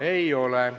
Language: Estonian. Ei ole.